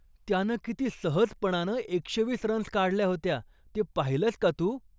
त्यानं किती सहजपणानं एकशे वीस रन्स काढल्या होत्या ते पाहिलंयस का तू.